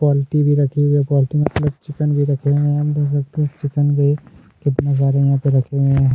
Poultry भी रखी है पौल्टी मतलब चिकन भी रखे है आप देख सकते है चिकन भी यहाँ पर कितना सारे यहाँ पर रखे हुए हैं।